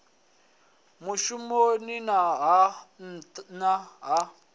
muvhusoni na ha nna ha